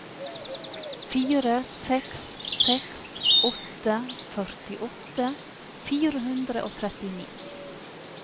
fire seks seks åtte førtiåtte fire hundre og trettini